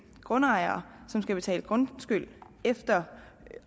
grundejere som skal betale grundskyld efter